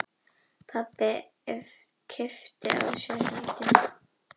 Pabbi kippti að sér hendinni.